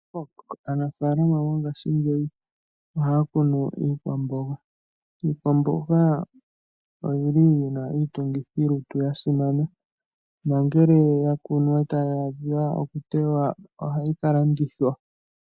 Aanafalama mongashingeyi ohaya kunu iikwamboga. Iikwamboga oyina iitungithilutu yasimana nongele ya kunwa etayi adha okutewa ohayi kalandithwa.